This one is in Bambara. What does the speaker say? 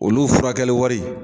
Olu' furakɛli wari.